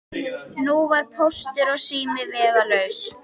Nú var Póstur og sími vegalaus.